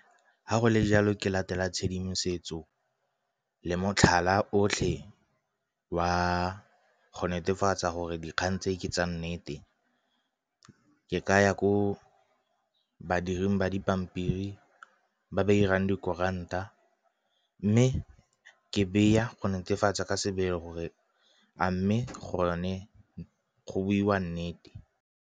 Ga go le jalo ke latela tshedimosetso le motlhala otlhe wa go netefatsa gore dikgang tse ke tsa nnete, ke ka ya ko badiring ba dipampiri ba ba 'irang dikuranta. Mme ke beya go netefatsa ka sebele gore a mme gone go boiwa nnete.